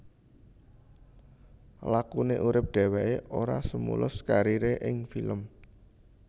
Lakune urip dheweke ora semulus karire ing film